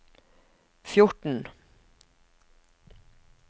fjorten